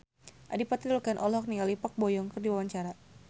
Adipati Dolken olohok ningali Park Bo Yung keur diwawancara